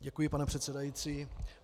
Děkuji, pane předsedající.